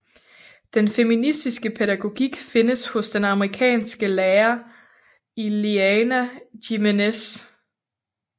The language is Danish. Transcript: Den feministiske pædagogik findes hos den amerikanske lærer Ileana Jiménez